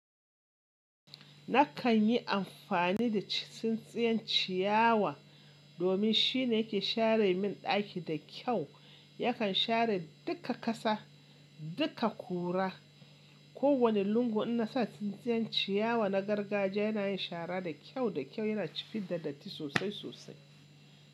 Nakan yi amfani da tsintsiyan ciyawa domin shine yake share min ɗaki da kyau. Yakan share duka ƙasa, duka kura. Ko wani lungu in na sa tsintsiyan ciyawa na gargajiya yana yin shara da kyau da kyau, yana fid da datti sosai sosai.